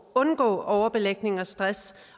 undgå overbelægning stress